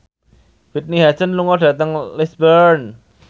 Whitney Houston lunga dhateng Lisburn